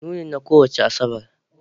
Nunin na kowace Asabar